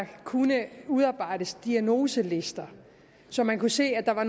kunne udarbejdes diagnoselister så man kunne se at der